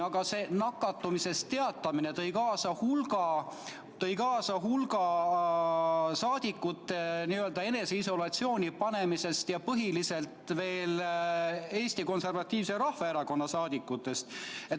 Aga see nakatumisest teatamine tõi kaasa hulga saadikute eneseisolatsiooni jäämise, põhiliselt olid need Eesti Konservatiivse Rahvaerakonna saadikud.